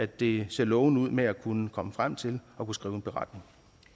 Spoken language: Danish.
det ser lovende ud med at kunne komme frem til at skrive en beretning